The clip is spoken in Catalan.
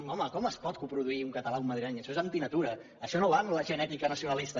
home com es pot coproduir un català i un madrileny això és antinatura això no va amb la genètica nacionalista